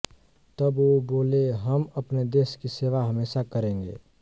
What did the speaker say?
तब वो बोले हम अपने देश की सेवा हमेशा करेंगे